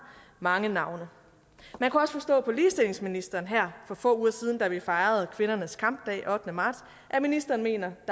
mange navne man kunne også forstå på ligestillingsministeren her for få uger siden da vi fejrede kvindernes kampdag den ottende marts at ministeren mener at